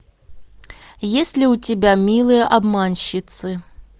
есть ли у тебя милые обманщицы